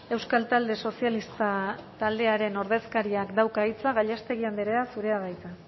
euskal talde sozialista taldearen ordezkariak dauka hitza gallástegui andrea zurea da hitza